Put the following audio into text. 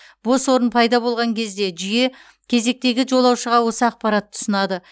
бос орын пайда болған кезде жүйе кезектегі жолаушыға осы ақпаратты ұсынады